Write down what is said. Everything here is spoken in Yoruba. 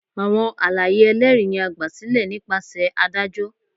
Awọn alaye ẹlẹri ni a gbasilẹ nipasẹ adajọ.